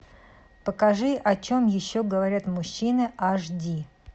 покажи о чем еще говорят мужчины аш ди